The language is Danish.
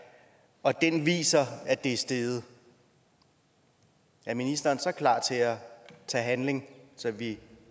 og den så viser at det er steget er ministeren så klar til at tage handling så vi